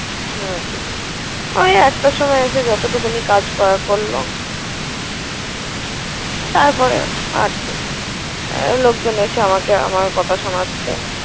হুম হুম ওই একটার সময় এসে যতটুকুনি কাজ করার করল। তারপরে আরকি, ওই লোকজন এসে আমাকে আমার কথা শোনাচ্ছে।